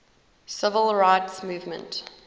civil rights movement